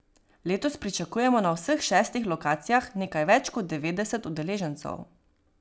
Letos pričakujemo na vseh šestih lokacijah nekaj več kot devetdeset udeležencev.